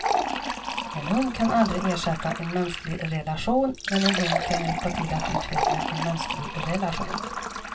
En hund kan aldrig ersätta en mänsklig relation, men en hund kan hjälpa till att utveckla en mänsklig relation.